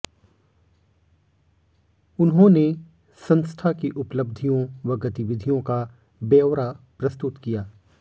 उन्होंने संस्था की उपलब्धियों व गतिविधियों का ब्यौरा प्रस्तुत किया